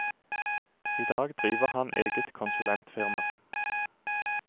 I dag driver han eget konsulentfirma.